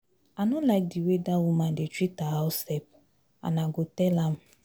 I no like the way dat woman dey treat her house help and I go tell am